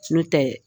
N'o tɛ